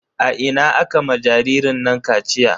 A ina aka ma jaririn nan kaciya?